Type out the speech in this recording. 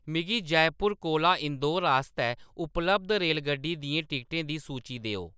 मिगी जयपुर कोला इंदौर आस्तै उपलब्ध रेलगड्डी दियें टिकटें दी सूची देओ